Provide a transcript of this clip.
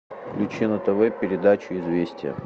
включи на тв передачу известия